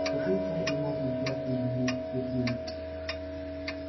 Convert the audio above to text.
с какой стати ему отличаться удивился сергей